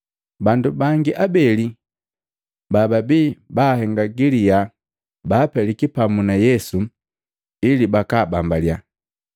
Bandu bangi abeli bababii baahenga galiya baapeliki pamu na Yesu ili bakaabambaliya.